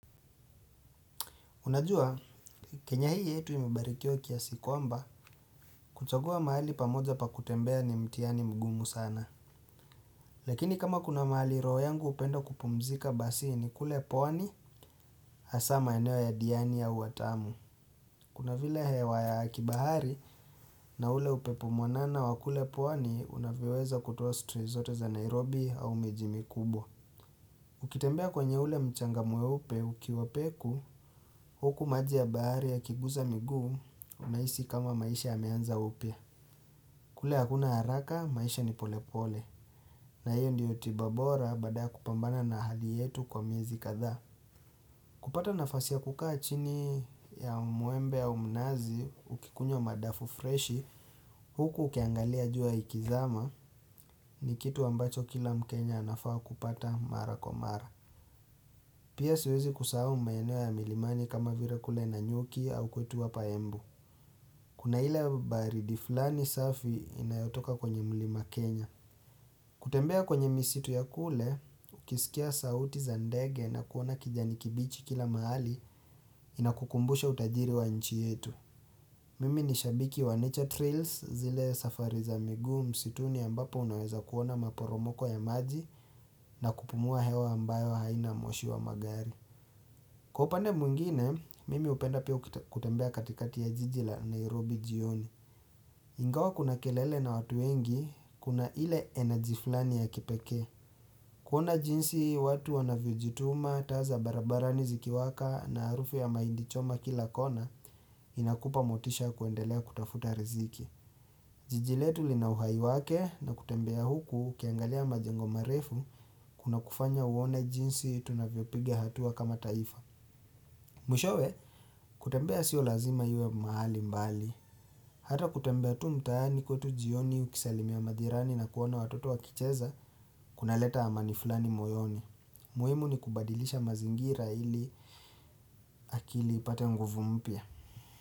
Unajua, kenya hii yetu imebarikiwa kiasi kwamba, kuchagua mahali pamoja pa kutembea ni mtiani mgumu sana. Lakini kama kuna mahali roho yangu hupenda kupumzika basi ni kule pwani hasa maeneo ya diani ya au watamu. Kuna vile hewa ya kibahari na ule upepo mwanana wa kule pwani unavyoweza kutowa stressi zote za Nairobi au miji mikubwa. Ukitembea kwenye ule mchanga mweupe ukiwa peku huku maji ya bahari ya kiguza miguu unahisi kama maisha yameanza upya kule hakuna haraka maisha ni pole pole na hiyo ndiyo tibabora baadaya kupambana na hali yetu kwa miezi kadhaa kupata nafasi ya kukaa chini ya muembe au mnazi ukikunywa madafu freshi huku ukiangalia jua ikizama ni kitu ambacho kila mkenya anafaa kupata mara kwa mara Pia siwezi kusahau maeno ya milimani kama vile kule nanyuki au kwetu hapa embu Kuna ile baridi fulani safi inayotoka kwenye mlima Kenya kutembea kwenye misitu ya kule, ukisikia sauti za ndege na kuona kijani kibichi kila mahali inakukumbusha utajiri wa nchi yetu Mimi ni shabiki wa nature trails zile safari za miguu msituni ambapo unaweza kuona maporomoko ya maji na kupumua hewa ambayo haina moshi wa magari. Kwa upande mwingine, mimi hupenda pia kutembea katikati ya jiji la Nairobi jioni. Ingawa kuna kelele na watu wengi, kuna ile enajiflani ya kipeke. Kuona jinsi watu wanavyojituma, taa barabarani zikiwaka na arufu ya mahindichoma kila kona, inakupa motisha kuendelea kutafuta riziki. Jijiletu linauhai wake na kutembea huku kiangalia majengo marefu kuna kufanya uone jinsi tunavyo pigi hatua kama taifa. Mwishowe, kutembea sio lazima iwe mahali mbali. Hata kutembea tu mtaani kwetu jioni ukisalimia majirani na kuona watoto wa kicheza kuna leta ama ni fulani moyoni. Muhimu ni kubadilisha mazingira ili akili ipate nguvu mpya.